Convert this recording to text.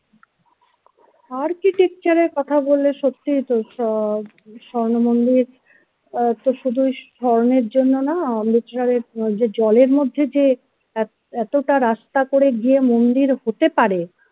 architecture এর কথা বলে সত্যিই তো আহ স্বর্ণমন্দির আহ শুধু স্বর্ণের জন্য না literate যে জলের মধ্যে যে এতটা রাস্তা করে গিয়ে মন্দির হতে পারে